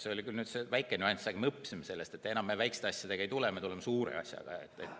See oli küll väike nüanss, aga me õppisime sellest, et enam me väikeste asjadega ei tule, me tuleme suure asjaga.